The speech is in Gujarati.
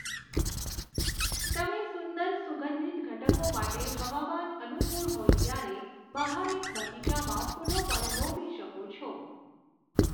તમે સુંદર સુગંધિત ઘટકો માટે હવામાન અનુકૂળ હોય ત્યારે બહાર એક બગીચામાં ફૂલો પણ રોપી શકો છો.